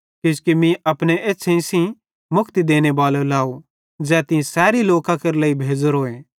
किजोकि मीं अपने एछ़्छ़ेईं सेइं मुक्ति देनेबालो लाव ज़ै तीं सैरी लोकां केरे लेइ भेज़ोरोए